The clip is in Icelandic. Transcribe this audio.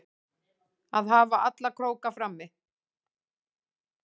Að hafa alla króka frammi